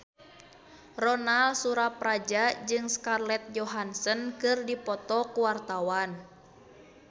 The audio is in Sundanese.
Ronal Surapradja jeung Scarlett Johansson keur dipoto ku wartawan